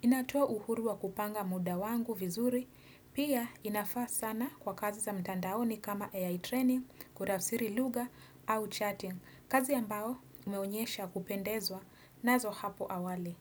inatoa uhuru wa kupanga muda wangu vizuri, pia inafaa sana kwa kazi za mtandaoni kama AI training, kurafsiri lugha au chatting, kazi ambao umeonyesha kupendezwa nazo hapo awali.